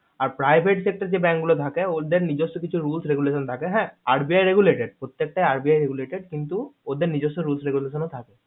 আর private sector যে bank গুলো থাকে ওদের নিজেস্য কিছু roles regulation থাকে হ্যা RBI regulated প্রত্যেকটাই RBI regulated কিন্তু ওদের নিজর্ষ roles regulation ও থাকে